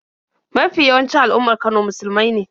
Mafi yawancin al'ummar Kano musulmai ne.